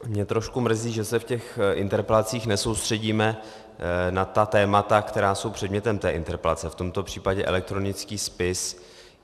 Mě trošku mrzí, že se v těch interpelacích nesoustředíme na ta témata, která jsou předmětem té interpelace, v tomto případě elektronický spis.